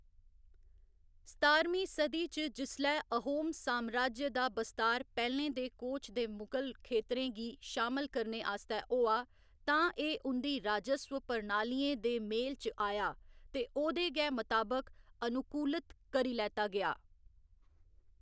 सतारमीं सदी च जिसलै अहोम सामराज्य दा बस्तार पैह्‌लें दे कोच ते मुगल खेत्तरें गी शामल करने आस्तै होआ, तां एह्‌‌ उं'दी राजस्व प्रणालियें दे मेल च आया ते ओह्‌‌दे गै मताबक अनुकूलित करी लैता गेआ।